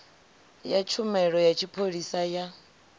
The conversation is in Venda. ya tshumelo ya tshipholisa ya